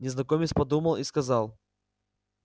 незнакомец подумал и сказал